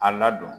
A ladon